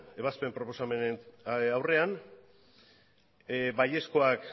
ebazpen proposamenen aurrean baiezkoak